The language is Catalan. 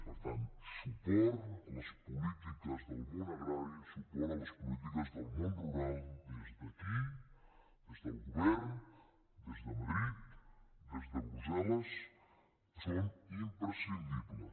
per tant suport a les polítiques del món agrari suport a les polítiques del món rural des d’aquí des del govern des de madrid des de brussel·les són imprescindibles